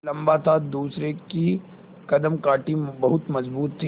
लम्बा था दूसरे की कदकाठी बहुत मज़बूत थी